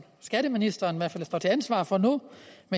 skatteministeren står til ansvar for nu